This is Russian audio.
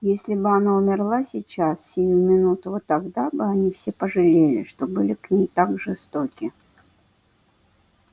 если бы она умерла сейчас сию минуту вот тогда бы они все пожалели что были к ней так жестоки